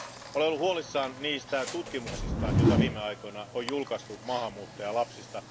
Olen ollut huolissani niistä tutkimuksista, joita viime aikoina on julkaistu maahanmuuttajalapsista.